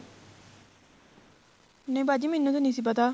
ਨਹੀਂ ਬਾਜੀ ਮੈਨੂੰ ਤੇ ਨਹੀਂ ਸੀ ਪਤਾ